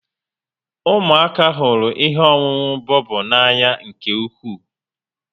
Ụmụaka hụrụ ihe ọṅụṅụ bobo n'anya nke ukwu